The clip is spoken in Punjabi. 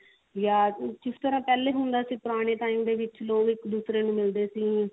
ਯਾ ਜਿਸ ਤਰਾਂ ਪਹਿਲੇ ਹੁੰਦਾ ਸੀ ਪੁਰਾਣੇ time ਦੇ ਵਿੱਚ ਲੋਕ ਇੱਕ ਦੂਸਰੇ ਨੂੰ ਮਿਲਦੇ ਸੀ